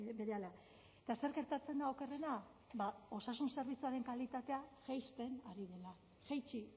berehala eta zer gertatzen da okerrena ba osasun zerbitzuaren kalitatea jaisten ari dela jaitsi